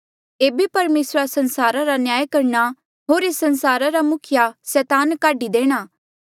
एेबे परमेसरा संसारा रा न्याय करणा होर एस संसारा रा मुखिया सैतान काढी देणा